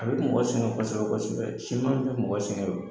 A be mɔgɔ sɛngɛn kɔsɔkɛ kɔsɛbɛ siman be mɔgɔ sɛgɛn o